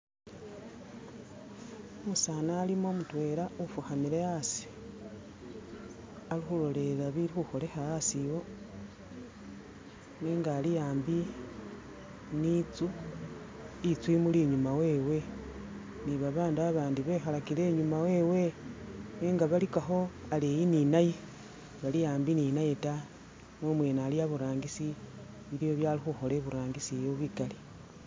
Umusaani alimo mutwela ufukhamile asi ali khulolelela bili khukholekha asi iwo nenga ali ambi ni itsu, itsu imuli inyuma wewe ni babaandu abandi bekhalakile inyuuma wewe nenga balikakho aleyi ninaye, sibali ambi ninaye ta ne imweene ali a'burangisi biliwo bye ali khukhola a'burangisi bikali.